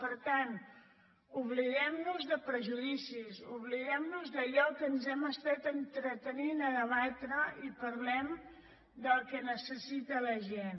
per tant oblidem nos de prejudicis oblidem nos d’allò que ens hem estat entretenint a debatre i parlem del que necessita la gent